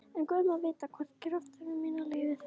En guð má vita hvort kraftar mínir leyfa það.